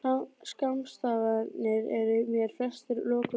Skammstafanirnar eru mér flestar lokuð bók.